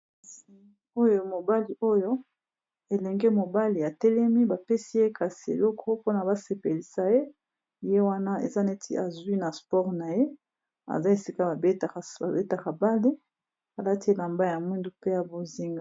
Oyo mobali oyo elenge mobali atelemi bapesi ye kasi eloko mpona basepelisa ye, ye wana eza neti azwi na sport na ye aza esika babetaka bale alati elamba ya mwindu pe ya bonzinga.